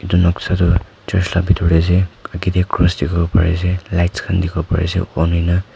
etu noksa tu church la bitor te ase age te cross dikhi wo pari ase lights khan dikhi ase on hoi na.